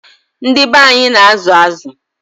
Ndị be anyị na-azụ azụ.